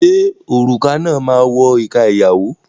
Ṣé òrùka náà máa wọ ìka ìyàwó?